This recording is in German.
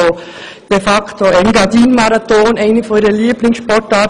Der Engadin-Marathon gehört zu ihren Lieblingssportarten.